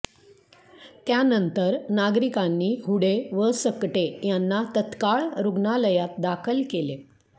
त्यानंतर नागरिकांनी हुडे व सकटे यांना तत्काळ रुग्णालयात दाखल केले